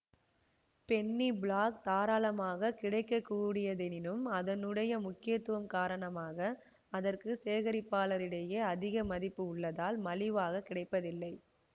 Penney black தாராளமாகக் கிடைக்கக்கூடியதெனினும் அதனுடைய முக்கியத்துவம் காரணமாக அதற்கு சேகரிப்பாளரிடையே அதிக மதிப்பு உள்ளதால் மலிவாகக் கிடைப்பதில்லை